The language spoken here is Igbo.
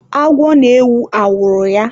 Agwọ na-ewu awụrụ ya.